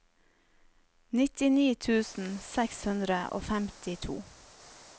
nittini tusen seks hundre og femtito